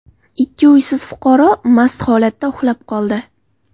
Ikki uysiz fuqaro mast holatda uxlab qoldi.